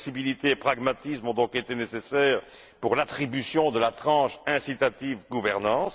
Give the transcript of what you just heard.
Flexibilité et pragmatisme ont donc été nécessaires pour l'attribution de la tranche incitative gouvernance.